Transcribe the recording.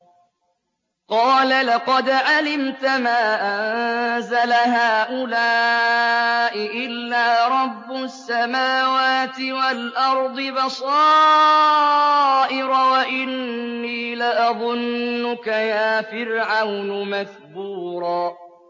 قَالَ لَقَدْ عَلِمْتَ مَا أَنزَلَ هَٰؤُلَاءِ إِلَّا رَبُّ السَّمَاوَاتِ وَالْأَرْضِ بَصَائِرَ وَإِنِّي لَأَظُنُّكَ يَا فِرْعَوْنُ مَثْبُورًا